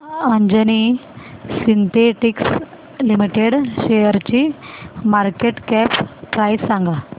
Anjani synthetics limited शेअरची market cap price सांगा